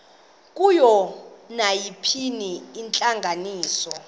kuyo nayiphina intlanganiso